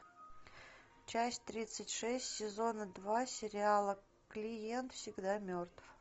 часть тридцать шесть сезона два сериала клиент всегда мертв